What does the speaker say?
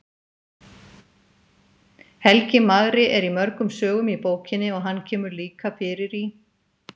Helgi magri er í mörgum sögum í bókinni og hann kemur líka fyrir í